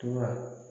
Tuma